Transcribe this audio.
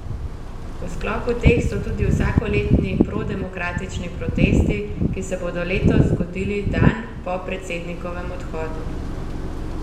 V sklopu teh so tudi vsakoletni prodemokratični protesti, ki se bodo letos zgodili dan po predsednikovem odhodu.